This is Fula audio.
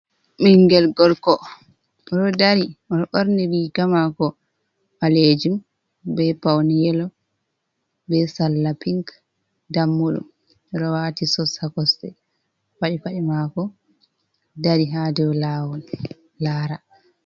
Ɓiingel gorko oɗo dari oɗo ɓorni riga mako ɓalejum be paune yelo be sallapink ɗammuɗum oɗo wati sos ha kosɗe paɗi paɗe mako dari ha dow lawol lara.